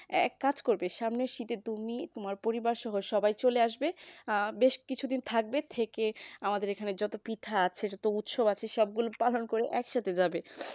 এক কাজ করবে সামনের শীতে তুমি তোমার পরিবারসহ সবাই চলে আসবে বেশ কিছুদিন থাকবে থেকে আমাদের এখানে যত পিঠা আছে যত উৎসব আছে সবগুলো পালন করে একসাথে যাবে